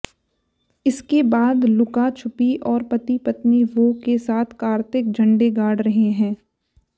इसके बाद लुका छुपी और पति पत्नी वो के साथ कार्तिक झंडे गाड़ रहे हैं